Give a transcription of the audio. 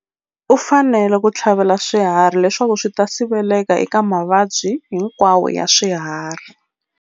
U fanele ku tlhavela swiharhi leswaku swi ta siveleka eka mavabyi hinkwawo ya swiharhi.